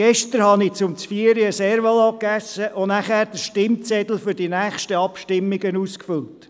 Gestern habe ich einen Cervelat zum Zvieri gegessen und danach den Stimmzettel für die nächsten Abstimmungen ausgefüllt.